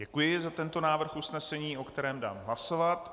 Děkuji za tento návrh usnesení, o kterém dám hlasovat.